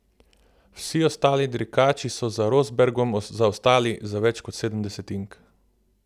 Vsi ostali dirkači so za Rosbergom zaostali za več kot sedem desetink.